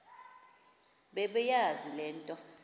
bebeyazi le nto